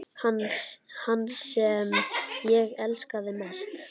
Hann sem ég elskaði mest.